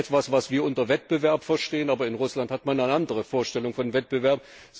Das ist etwas, was wir unter Wettbewerb verstehen, aber in Russland hat man eine andere Vorstellung von Wettbewerb.